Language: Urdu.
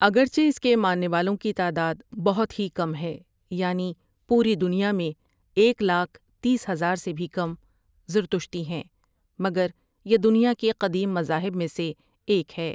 اگرچہ اس کے ماننے والوں کی تعداد بہت ہی کم ہے یعنی پوری دنیا میں ایک لاکھ تیس ہزار سے بھی کم زرتشتی ہیں مگر یہ دنیا کے قدیم مذاہب میں سے ایک ہے۔